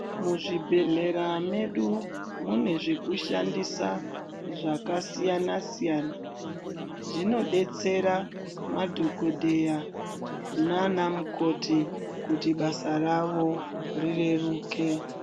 Mu zvibhedhlera medu mune zvekushandisa zvakasiyana siyana zvino detsera madhokoteya nana mukoti kuti basa ravo ri reruke.